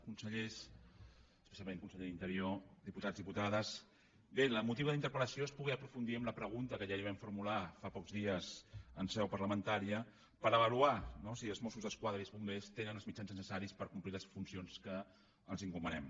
consellers especialment conseller d’interior diputats diputades bé el motiu de la interpel·lació és poder aprofundir en la pregunta que ja li vam formular fa pocs dies en seu parlamentària per avaluar no si els mossos d’esquadra i els bombers tenen els mitjans necessaris per complir les funcions que els encomanem